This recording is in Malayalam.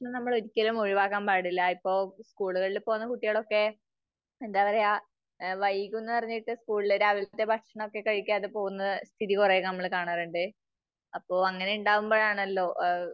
ഭക്ഷണം നമ്മള് ഒരിക്കലും ഒഴിവാക്കാൻ പാടില്ല. ഇപ്പോ സ്കൂളുകളില് പോകുന്ന കുട്ടികളൊക്കെ എന്താ പറയാ. വൈകൂന്നു പറഞ്ഞിട്ട് രാവിലത്തെ ഭക്ഷണമൊക്കെ കഴിക്കാതെ പോകുന്ന രീതി കുറെ നമ്മള് കാണാറുണ്ട്. അപ്പോ, അങ്ങനെ ഉണ്ടാവുമ്പോഴാണല്ലോ